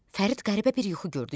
Fərid qəribə bir yuxu gördü.